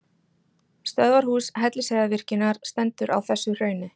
Stöðvarhús Hellisheiðarvirkjunar stendur á þessu hrauni.